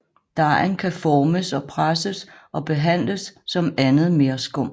Dejen kan formes og presses og behandles som andet merskum